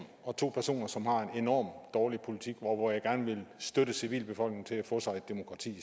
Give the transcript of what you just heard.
og to personer som har en enorm dårlig politik og jeg vil gerne støtte civilbefolkningerne til at få sig et demokrati i